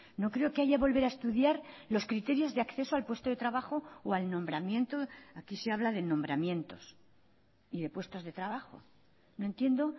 no creo que haya volver a estudiar los criterios de acceso al puesto de trabajo o al nombramiento aquí se habla de nombramientos y de puestos de trabajo no entiendo